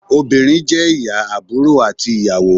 obìnrin jé ìyá, àbúrò ati ìyàwó